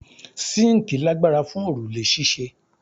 Síńkì lagbara fun orule ṣíṣe